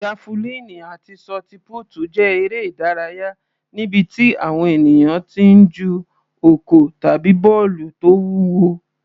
Jafulíìnì àti ṣọtipútì jẹ́ eré ìdárayá níbi tí àwọn ènìyàn ti ń ju ọ̀kọ̀ tàbí bọ́ọ̀lù tó wúwo.